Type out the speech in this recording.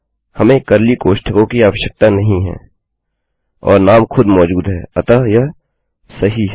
हमें कर्ली कोष्ठकों की आवश्यकता नहीं है और नाम खुद मौजूद है अतः यह सही है